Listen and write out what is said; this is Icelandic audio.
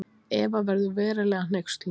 Eva verður verulega hneyksluð.